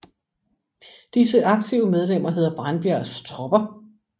Disse aktive medlemmer hedder Brandbjergs Tropper